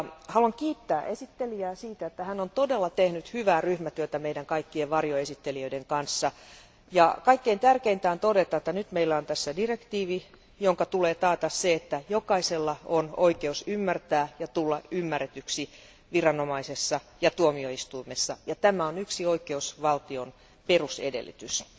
Haluan kiittää esittelijää siitä, että hän on tehnyt todella hyvää ryhmätyötä meidän kaikkien varjoesittelijöiden kanssa. Kaikkein tärkeintä on todeta, että nyt meillä on direktiivi, jonka tulee taata se, että jokaisella on oikeus ymmärtää ja tulla ymmärretyksi viranomaisessa ja tuomioistuimessa, mikä on yksi oikeusvaltion perusedellytyksistä.